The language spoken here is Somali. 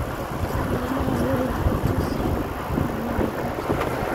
Maalmahan wehel quduus ah ma lihi